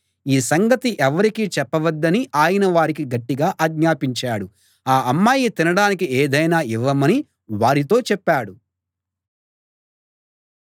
ఈ సంగతి ఎవ్వరికి చెప్పవద్దని ఆయన వారికి గట్టిగా ఆజ్ఞాపించాడు ఆ అమ్మాయికి తినడానికి ఏదైనా ఇవ్వమని వారితో చెప్పాడు